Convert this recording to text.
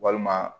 Walima